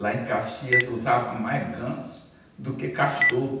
Lá em Caxias eu usava mais ganso do que cachorro.